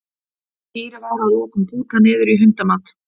Dýrið var að lokum bútað niður í hundamat.